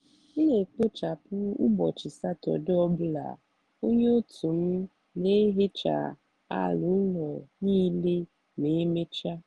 m n'ekpochapụ ụbọchị satọde ọ bụla onye otu m n'ehecha ala ụlọ niile ma emechaa.